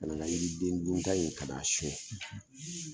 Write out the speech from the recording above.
Kana n ka yiriden dunta in ka a son.